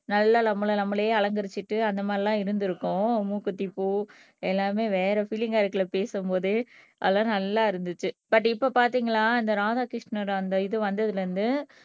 நல்ல நம்மல நம்மளே அலங்கரிச்சுட்டு அந்த மாதிரி எல்லாம் இருந்திருக்கும் மூக்குத்தி பூ எல்லாமே வேற பீலிங்கா இருக்கு இல்ல பேசும்போதே அதெல்லாம் நல்லா இருந்துச்சு பட் இப்ப பாத்தீங்களா இந்த ராதாகிருஷ்ணர் அந்த இது வந்ததுல இருந்து